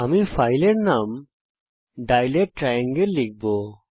আমি ফাইলের নাম dilate ট্রায়াঙ্গেল লিখব